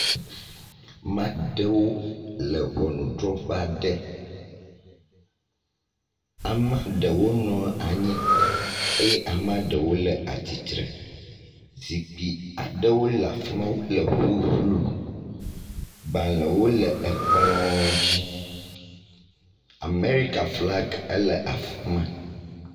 Ame aɖewo le ŋɔnudrɔ̃ƒe aɖe. Ame aɖewo nɔ anyi eye ame aɖewo le atsitre. Zikpui aɖewo le afi ma le ƒuƒlu. Gbalẽwo le ekplɔ dzi. Amerika flagi le afi ma.